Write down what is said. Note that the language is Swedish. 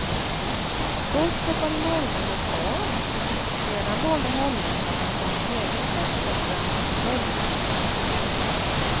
Först hoppade norrmännen av, sedan valde holländarna att ha en egen presskonferens på holländska.